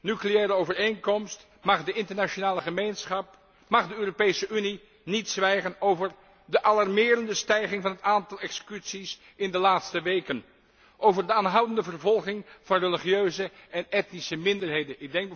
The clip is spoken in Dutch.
nucleaire overeenkomst mag de internationale gemeenschap, mag de Europese Unie niet zwijgen over de alarmerende stijging van het aantal executies in de laatste weken, over de aanhoudende vervolging van religieuze en etnische minderheden.